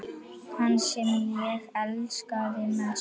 Hann sem ég elskaði mest.